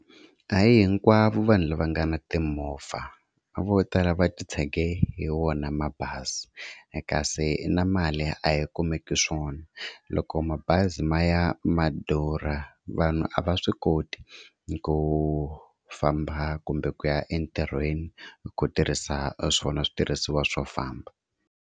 A hi hinkwavo vanhu lava nga na timovha vo tala va titshege hi wona mabazi kasi i na mali a yi kumeki swona loko mabazi rs ma ya ma durha vanhu a va swi koti ku famba kumbe ku ya entirhweni hi ku tirhisa swona switirhisiwa swo famba.